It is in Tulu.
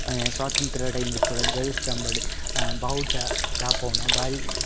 ಅ ಸ್ವಾತಂತ್ರ ಟೈಮ್ ಡ್ ಪೂರ ದ್ವಜಸ್ತಂಬಡ್ ಅ ಬಾವುಟ ರಾಪವುನ ಅವು ಬಾರಿ.